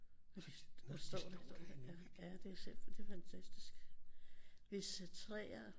Og de står dernede ja ja det er simpelthen det er fantastisk hvis træer